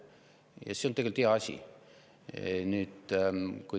Ja see on tegelikult hea asi.